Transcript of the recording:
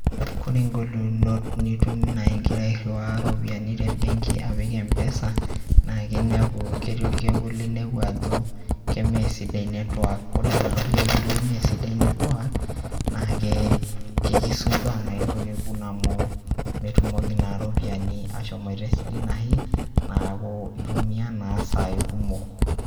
Kore ing'olikinot nitum naa ing'ira airiwaa iropiani te mbenki apik mpesa naake inepu keti orkekun linepu ajo kemeesidai network. Kore naa orkekun lemeesidai network, naake kekisumbua noo ilo kekun amu metumoki naa ropiani ashomoita esidai anashe neeku itumia naa isai kumok.